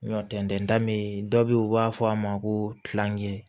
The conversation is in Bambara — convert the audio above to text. Tɛntɛnda me yen dɔ be ye u b'a fɔ a ma ko